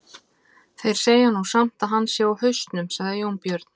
Þeir segja nú samt að hann sé á hausnum, sagði Jónbjörn.